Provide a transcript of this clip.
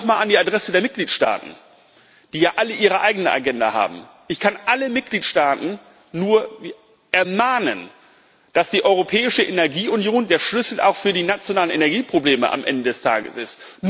Nochmal an die Adresse der Mitgliedstaaten, die ja alle ihre eigene Agenda haben Ich kann alle Mitgliedstaaten nur ermahnen, dass die europäische Energieunion auch der Schlüssel für die nationalen Energieprobleme am Ende des Tages ist.